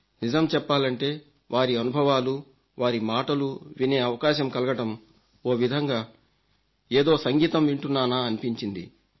నిజం చెప్పాలంటే వారి అనుభవాలు వారి మాటలు వినే అవకాశం కలగడం ఓ విధంగా ఏదో సంగీతం వింటున్నానా అనిపించింది